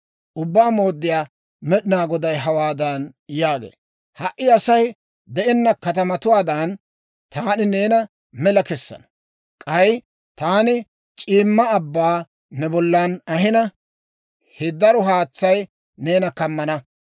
«Ubbaa Mooddiyaa Med'inaa Goday hawaadan yaagee; ‹Ha"i Asay de'enna katamatuwaadan, taani neena mela kessana. K'ay taani c'iimma abbaa ne bollan ahina, he daro haatsay neena kammana.